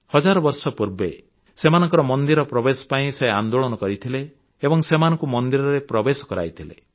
ହଜାର ବର୍ଷ ପୂର୍ବେ ସେମାନଙ୍କର ମନ୍ଦିର ପ୍ରବେଶ ପାଇଁ ସେ ଆନ୍ଦୋଳନ କରିଥିଲେ ଏବଂ ସେମାନଙ୍କୁ ମନ୍ଦିରରେ ପ୍ରବେଶ କରାଇଥିଲେ